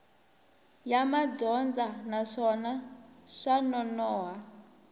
ya madyondza naswona swa nonoha